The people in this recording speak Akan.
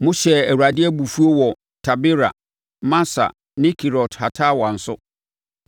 Mohyɛɛ Awurade abufuo wɔ Tabera, Masa ne Kibrot-Hataawa nso.